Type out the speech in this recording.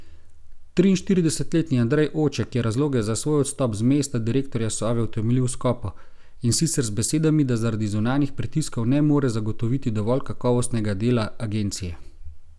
Triinštiridesetletni Andrej Oček je razloge za svoj odstop z mesta direktorja Sove utemeljil skopo, in sicer z besedami, da zaradi zunanjih pritiskov ne more zagotoviti dovolj kakovostnega dela agencije.